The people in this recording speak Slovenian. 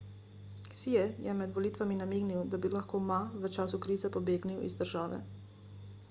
hsieh je med volitvami namignil da bi lahko ma v času krize pobegnil iz države